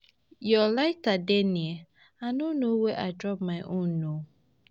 Your lighter dey near, I no know where I drop my own um um